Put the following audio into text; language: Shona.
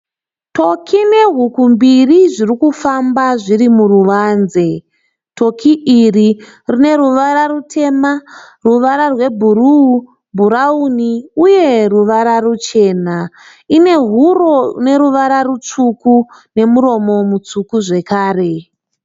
Toki nehuku mbiri zvirikufamba zviri muruvanze. Toki iri rine ruvara rutema , ruvara rwe bhuruu , bhurauni uye ruvara ruchena. Ine huro ine ruvara rutsvuku nemuromo mutsvuku zvekare.